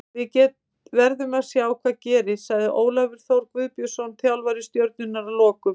Við verðum að sjá hvað gerist, sagði Ólafur Þór Guðbjörnsson þjálfari Stjörnunnar að lokum.